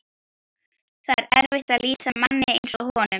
Það er erfitt að lýsa manni eins og honum.